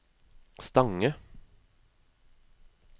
Stange